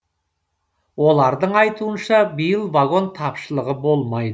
олардың айтуынша биыл вагон тапшылығы болмайды